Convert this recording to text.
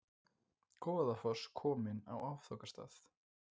Goðafoss kominn á áfangastað